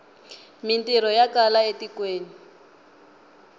mintirho ya kala e tikweni